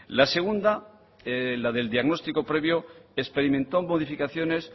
la segunda la del diagnóstico previo experimentó modificaciones